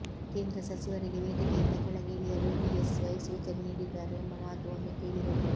ಕೇಂದ್ರ ಸಚಿವರಿಗೆ ವೇದಿಕೆಯಿಂದ ಕೆಳಗೆ ಇಳಿಯಲು ಬಿಎಸ್ವೈ ಸೂಚನೆ ನೀಡಿದ್ದಾರೆ ಎಂಬ ಮಾತು ಒಮ್ಮೆ ಕೇಳಿಬಂದಿತ್ತು